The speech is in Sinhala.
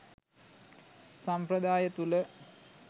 සම්ප්‍රදාය තුළ